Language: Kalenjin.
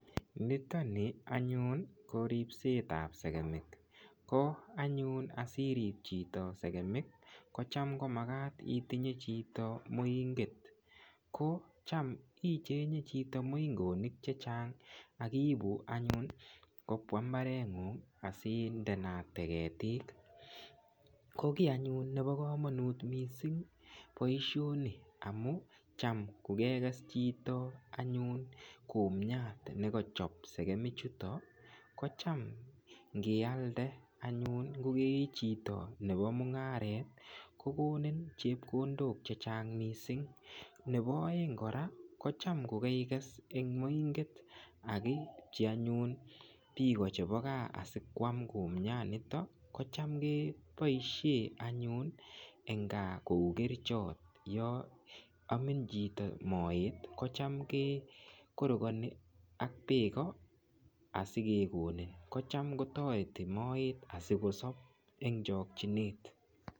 Niton nii anyun ko ribsetab sekemik, ko anyun asirib sekemik kocham komakat itinye chito moing'et, kocham icheng'e chito moing'onik chechang ak ibuu anyun kobwa imbareng'ung asindeate ketik, ko kii anyun nebo komonut mising boishoni amun cham ko kekes chito anyun kumiat nekochob sekemichuton kocham ng'ialde anyun ng'o kechito Nebo mung'aret ko kokonin chepkondok chechang mising, Nebo oeng kora kocham ko keikes en moing'et ak iibchi anyun biik anyun chebo kaa asikwam kumianito kocham keboishen anyun eng' Kaa kou kerichot yoon omin chito moet kocham kekorokoni ak beek asikekoni, kocham kotoreti moet asikosob eng' chokyinet.